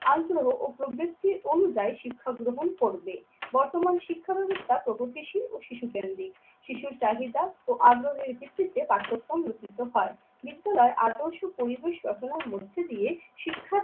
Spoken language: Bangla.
আন্তর ও প্রভৃতি অনুযায়ী শিক্ষা গ্রহণ করবে। বর্তমান শিক্ষা ব্যবস্থা প্রগতিশীল ও শিশুদের অধিক। শিশুর চাহিদা ও আগ্রহের ভিত্তিতে পাঠ্যক্রমিত রচিত হয়। বিদ্যালয়ে আদর্শ পরিবেশ রচনার মধ্যে দিয়ে শিক্ষার্থী